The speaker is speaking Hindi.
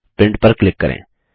प्रिंट पर क्लिक करें